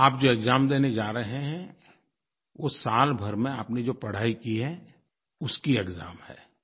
आप जो एक्साम देने जा रहे हैं वो साल भर में आपने जो पढ़ाई की है उसकी एक्साम है